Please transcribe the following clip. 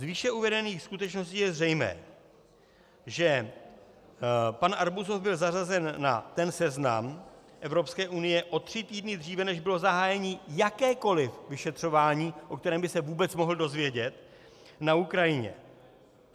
Z výše uvedených skutečností je zřejmé, že pan Arbuzov byl zařazen na ten seznam Evropské unie o tři týdny dříve, než bylo zahájeno jakékoliv vyšetřování, o kterém by se vůbec mohl dozvědět, na Ukrajině.